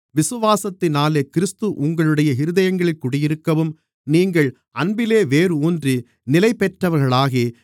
விசுவாசத்தினாலே கிறிஸ்து உங்களுடைய இருதயங்களில் குடியிருக்கவும் நீங்கள் அன்பிலே வேர் ஊன்றி நிலைபெற்றவர்களாகி